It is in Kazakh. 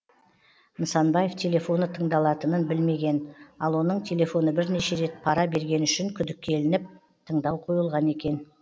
нысанбаев телефоны тыңдалатынын білмеген ал оның телефоны бірнеше рет пара бергені үшін күдікке ілініп тыңдау қойылған екен